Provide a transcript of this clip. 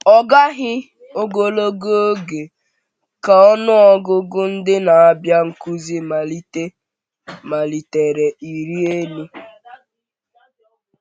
Ọ gaghị ogologo oge ka ọnụ ọgụgụ ndị na-abịa nzukọ malitere ịrị elu.